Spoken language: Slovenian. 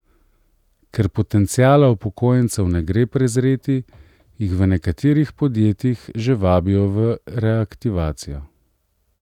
Ker potenciala upokojencev ne gre prezreti, jih v nekaterih podjetjih že vabijo v reaktivacijo.